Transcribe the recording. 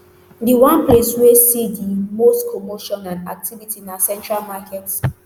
di one place wey see di most commotion and activity na central market